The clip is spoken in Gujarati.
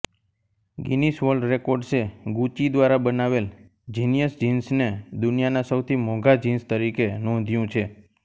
ગિનિસ વર્લ્ડ રેકોર્ડ્સે ગૂચી દ્વારા બનાવેલ જીનિયસ જિન્સને દુનિયાના સૌથી મોંઘા જિન્સ તરીકે નોંધ્યું છે